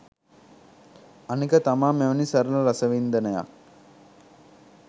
අනික තමා මෙවැනි සරල රසවින්දනයක්